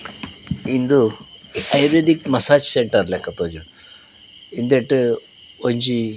ಇಂದು ayurvedic massage centre ಲಕ ತೋಜುಂಡು ಇಂದೆಟ್ ಒಂಜಿ.